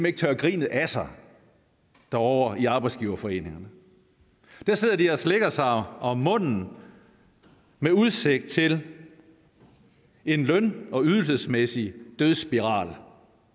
ikke tørre grinet af sig ovre i arbejdsgiverforeningerne der sidder de og slikker sig om munden med udsigt til en løn og ydelsesmæssig dødsspiral